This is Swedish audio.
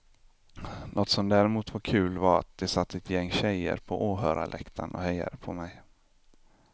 Något som däremot var kul var att det satt ett gäng tjejer på åhörarläktaren och hejade på mig.